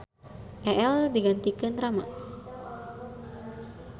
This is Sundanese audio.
Eel digantikeun Rama.